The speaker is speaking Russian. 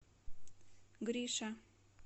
гриша